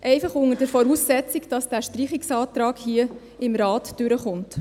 Dies einfach vorausgesetzt, dieser Streichungsantrag kommt hier im Rat durch.